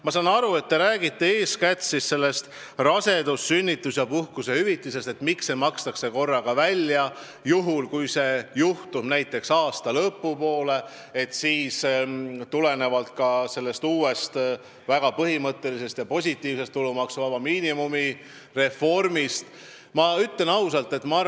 Ma saan aru, et te räägite eeskätt rasedus- ja sünnituspuhkuse hüvitisest, mis makstakse korraga välja, ja tahate teada, miks on nii, et kui see juhtub aasta lõpu poole, siis tulenevalt uuest väga põhimõttelisest ja muidu positiivsest tulumaksuvaba miinimumi reformist tuleb lapsevanemal juurde maksta.